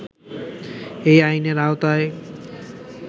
এই আইনের আওতায়